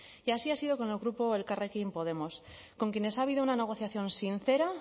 y así ha sido con el grupo elkarrekin podemos con quienes ha habido una negociación sincera